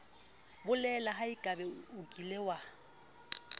bolela haebe o kile wa